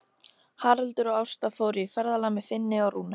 Haraldur og Ásta fóru í ferðalag með Finni og Rúnu.